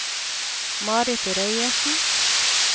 Marit Reiersen